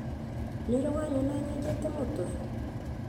Nĩ ũrĩ wanyona nyenjete mũtwe??